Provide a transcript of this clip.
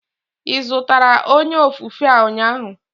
Ị zụtara onye ofufe a ụnyaahụ?